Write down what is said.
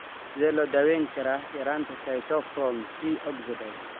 Sidee loo daweyn karaa yaraanta cytochrome C oxidase?